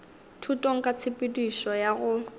thutong ka tshepedišo ya go